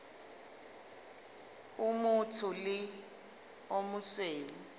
o motsho le o mosweu